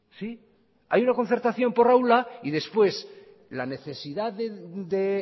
sí hay una concertación por aula y después la necesidad de